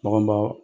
Bagan baw